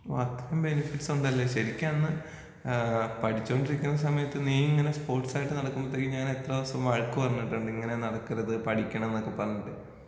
അത്രയും ബെനിഫിറ്റ്സ് ഉണ്ടല്ലേ ശരിക്കന്ന് ആ പഠിച്ചോണ്ടിരിക്കുന്ന സമയത്ത് നീ ഇങ്ങനെ സ്പോർട്സായിട്ട് നടക്കുംമ്പത്തേക്കും ഞാൻ എത്ര ദിവസം വഴക്കു പറഞ്ഞിട്ടുണ്ട് ഇങ്ങനെ നടക്കരുത് പഠിക്കണംന്നൊക്കെ പറഞ്ഞിട്ട്.